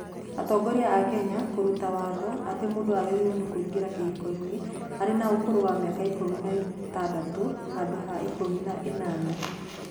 Atongoria a Kenya kũruta watho atĩ mũndũ agĩrĩirwo nĩ kũingĩra kĩhiko-inĩ arĩ na ũkũrũ wa mĩaka 16 handũ ha 18